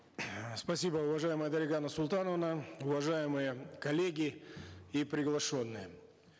спасибо уважаемая дарига нурсултановна уважаемые коллеги и приглашенные